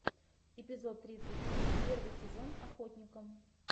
эпизод тридцать три первый сезон охотникам